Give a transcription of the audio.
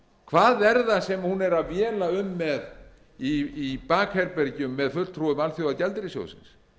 hvað er það sem hún er að véla um með í bakherbergjum með fulltrúum alþjóðagjaldeyrissjóðsins